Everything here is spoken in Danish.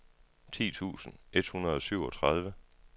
ti tusind et hundrede og syvogtredive